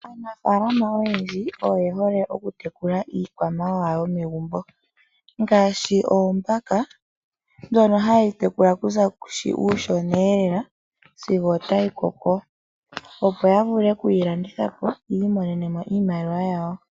Aanafalama oyendji oye hole oku tekula iikwamawawa yomegumbo ngaashi oombaka ndhono haye dhi tekula okuza kushi kuushona Lela sigo otayi koko, opo ya vule okudhilanditha po yi imonene iimaliwa yawo.